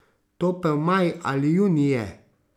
Topel maj ali junij je.